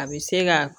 A bɛ se ka